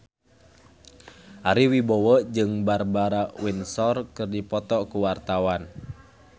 Ari Wibowo jeung Barbara Windsor keur dipoto ku wartawan